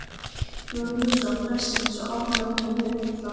Jón Jónsson prestsins og árnaði honum heilla.